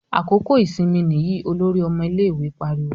"Àkókò ìsinmi nìyí!" Olórí ọmọ ilé-ìwé pariwo.